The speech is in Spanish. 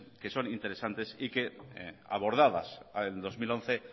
que son interesantes y que abordadas en el dos mil once